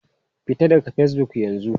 Fita daga Facebook yanzu!